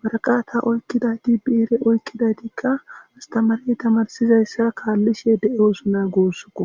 waraqata oykkidayti biire oykkidaytikka astamari tamarsizayssa kaallishe de7osona goossuko